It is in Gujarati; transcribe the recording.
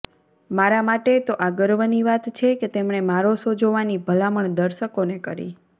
મારા માટે તો આ ગર્વની વાત છે કે તેમણે મારો શો જોવાની ભલામણ દર્શકોને કરી